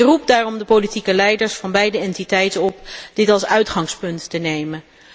Ik roep daarom de politieke leiders van beide entiteiten op dit als uitgangspunt te nemen.